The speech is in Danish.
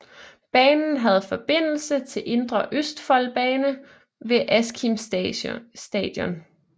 Banen havde forbindelse til Indre Østfoldbanen ved Askim Station